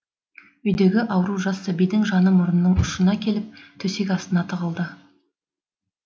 үйдегі ауру жас сәбидің жаны мұрнының ұшына келіп төсек астына тығылды